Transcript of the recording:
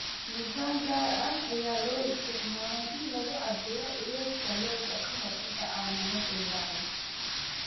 Miisaan gaar ah ayaa loo isticmaalaa in lagu cabbiro culeyska lo'da ka hor inta aan la gowracin.